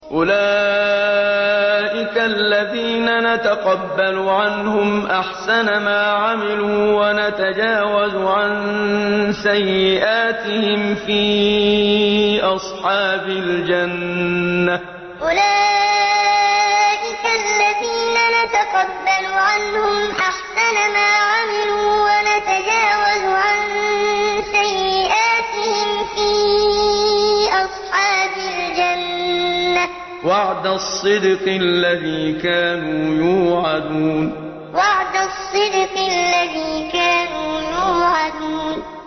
أُولَٰئِكَ الَّذِينَ نَتَقَبَّلُ عَنْهُمْ أَحْسَنَ مَا عَمِلُوا وَنَتَجَاوَزُ عَن سَيِّئَاتِهِمْ فِي أَصْحَابِ الْجَنَّةِ ۖ وَعْدَ الصِّدْقِ الَّذِي كَانُوا يُوعَدُونَ أُولَٰئِكَ الَّذِينَ نَتَقَبَّلُ عَنْهُمْ أَحْسَنَ مَا عَمِلُوا وَنَتَجَاوَزُ عَن سَيِّئَاتِهِمْ فِي أَصْحَابِ الْجَنَّةِ ۖ وَعْدَ الصِّدْقِ الَّذِي كَانُوا يُوعَدُونَ